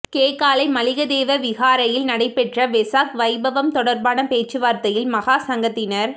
கேகாலை மலிகதேவ விஹாரையில் நடைபெற்ற வெசாக் வைபவம் தொடர்பான பேச்சுவார்த்தையில் மகாசங்கத்தினர்